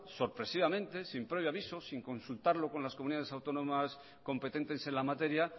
sorpresivamente sin previo aviso sin consultarlo con las comunidades autónomas competentes en la materia